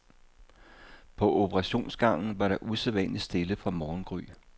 På operationsgangen var der usædvanlig stille fra morgengry.